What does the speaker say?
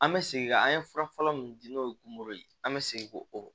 An bɛ segin ka an ye fura fɔlɔ min di n'o ye kungo ye an bɛ segin korɔ